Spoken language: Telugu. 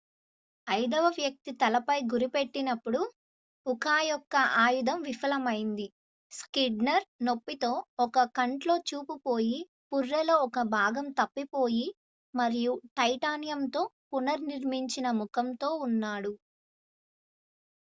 ఐదవ వ్యక్తి తలపై గురిపెట్టినప్పుడు ఉకా యొక్క ఆయుధం విఫలమైంది స్క్నీడర్ నొప్పితో ఒక కంట్లో చూపు పోయి పుర్రెలో ఒక భాగం తప్పిపోయి మరియు టైటానియంతో పునర్నిర్మించిన ముఖంతో ఉన్నాడు